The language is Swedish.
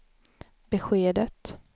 beskedet